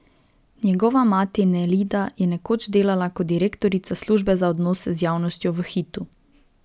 Njegova mati Nelida je nekoč delala kot direktorica službe za odnose z javnostjo v Hitu.